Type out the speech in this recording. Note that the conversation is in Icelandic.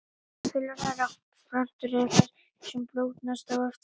Fjölærar plöntur eru þær sem blómgast ár eftir ár.